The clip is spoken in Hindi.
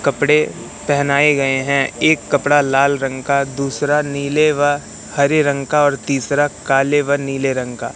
कपड़े पहनाए गए हैं एक कपड़ा लाल रंग का दूसरा नीले व हरे रंग का और तीसरा काले व नीले रंग का।